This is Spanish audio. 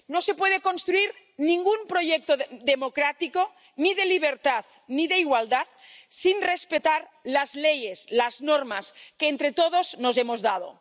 No se puede construir ningún proyecto democrático, ni de libertad ni de igualdad, sin respetar las leyes, las normas que entre todos nos hemos dado.